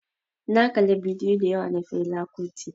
Na kala bidiyo dayawa na Fela kuti.